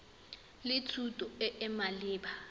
le thuto e e maleba